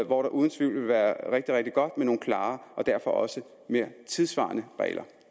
hvor det uden tvivl vil være rigtig rigtig godt med nogle klare og derfor også mere tidssvarende regler